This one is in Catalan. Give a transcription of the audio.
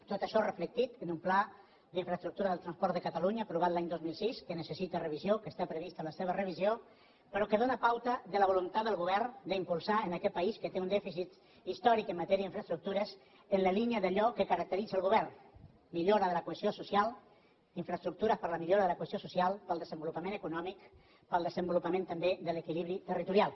tot això reflectit en un pla d’infraestructures del transport de catalunya aprovat l’any dos mil sis que necessita revisió que està prevista la seva revisió però que dóna pauta de la voluntat del govern d’impulsar en aquest país que té un dèficit històric en matèria d’infraestructures en la línia d’allò que caracteritza el govern millora de la cohesió social infraestructures per a la millora de la cohesió social per al desenvolupament econòmic per al desenvolupament també de l’equilibri territorial